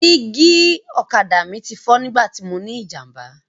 Dígí ọ̀kadà mi ti fọ́ nígbà tí mọ ní ìjàmbá.